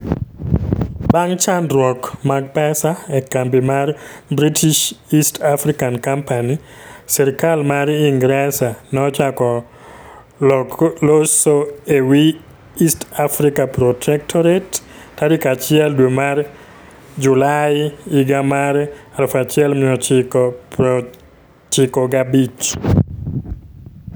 Bang' chandruok mag pesa e kambi mar British East African Company, sirkal mar Ingresa nochako locho e wi East Africa Protectorate tarik 1 dwe mar Julai 1895.